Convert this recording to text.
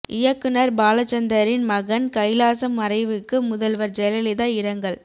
இயக்குனர் பாலசந்தரின் மகன் கைலாசம் மறைவுக்கு முதல்வர் ஜெயலலிதா இரங்கல்